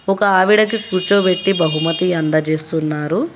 ఒక ఆవిడకి కూర్చోబెట్టి బహుమతి అందజేస్తున్నారు.